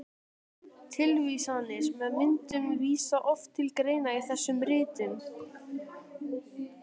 Tilvísanir með myndum vísa oft til greina í þessum ritum.